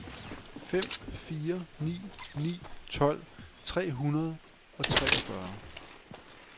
fem fire ni ni tolv tre hundrede og treogfyrre